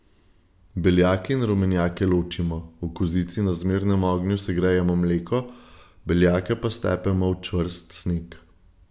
Beljake in rumenjake ločimo, v kozici na zmernem ognju segrejemo mleko, beljake pa stepemo v čvrst sneg.